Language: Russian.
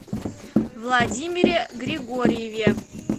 владимире григорьеве